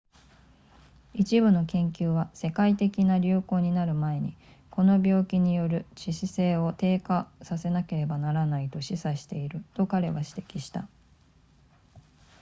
一部の研究は世界的な流行になる前にこの病気による致死性を低下させなければならないと示唆していると彼は指摘した